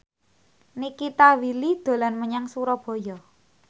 Nikita Willy dolan menyang Surabaya